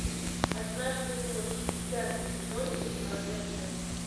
однажды ночью пятый сезон четвертая часть